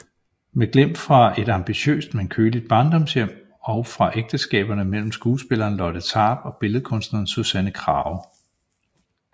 Med glimt fra et ambitiøst men køligt barndomshjem og fra ægteskaberne med skuespilleren Lotte Tarp og billedkunstneren Susanne Krage